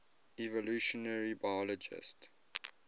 evolutionary biologists